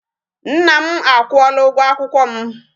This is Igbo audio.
Nna m akwụola ụgwọ akwụkwọ m